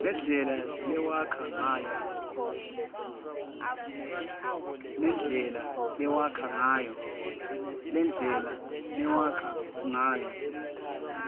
nendlela lewakha ngayo